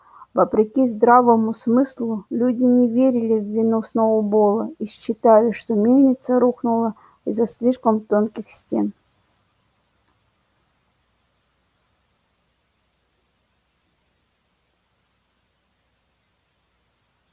вопреки здравому смыслу люди не верили в вину сноуболла и считали что мельница рухнула из-за слишком тонких стен